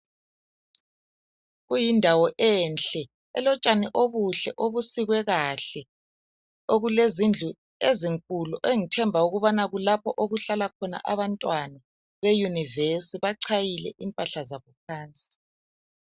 Kuyindawo enhle , elotshani obuhle obusikwe kahle. Okulezindlu ezinkulu engithemba ukubana kulapho okuhlala khona abantwana beuniversity bachayile impahla zabo phandle .